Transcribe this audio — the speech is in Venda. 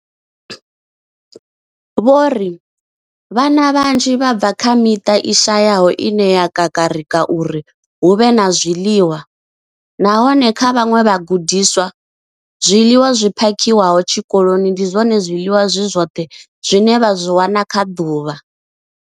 Vho ri, Vhana vhanzhi vha bva kha miṱa i shayaho ine ya gagarika uri hu vhe na zwiḽiwa, nahone kha vhaṅwe vhagudiswa, zwiḽiwa zwi phakhiwaho tshikoloni ndi zwone zwiḽiwa zwi zwoṱhe zwine vha zwi wana kha ḓuvha.